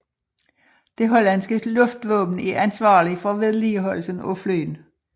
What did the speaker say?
Det hollandske luftvåben er ansvarligt for vedligeholdelsen af flyene